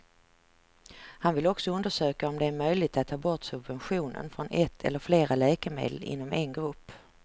Han vill också undersöka om det är möjligt att ta bort subventionen från ett eller flera läkemedel inom en grupp.